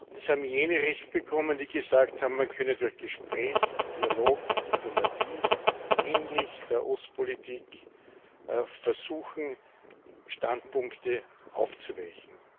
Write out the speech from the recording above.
Es haben jene Recht bekommen, die gesagt haben, man könne durch Gespräch, Dialog, Diplomatie ähnlich der Ostpolitik versuchen, Standpunkte aufzuweichen.